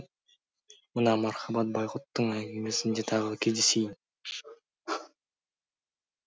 мына мархабат байғұттың әңгімесінде тағы кездесейін